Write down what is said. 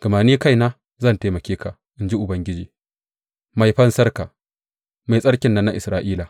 gama ni kaina zan taimake ka, in ji Ubangiji, Mai Fansarka, Mai Tsarkin nan na Isra’ila.